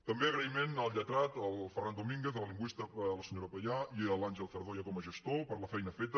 també agraïment al lletrat al ferran domínguez a la lingüista la senyora payà i a l’àngel zardoya com a gestor per la feina feta